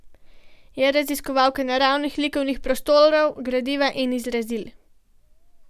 Je raziskovalka naravnih likovnih prostorov, gradiva in izrazil.